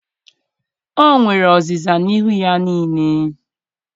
o nwere ọzịza n'ihu ya niile.